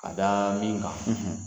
K'a da min kan.